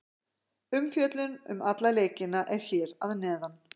Umfjöllun um alla leikina er hér að neðan.